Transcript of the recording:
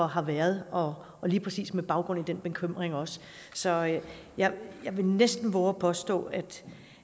har været og lige præcis med baggrund i den bekymring også så jeg vil næsten vove at påstå